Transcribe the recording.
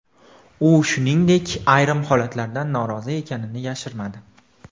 U, shuningdek, ayrim holatlardan norozi ekanini yashirmadi.